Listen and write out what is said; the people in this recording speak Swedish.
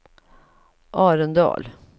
Arendal